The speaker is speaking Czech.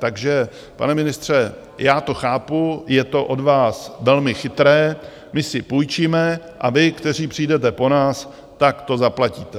Takže, pane ministře, já to chápu, je to od vás velmi chytré, my si půjčíme a vy, kteří přijdete po nás, tak to zaplatíte.